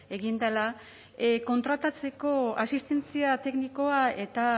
egin dela kontratatzeko asistentzia teknikoa eta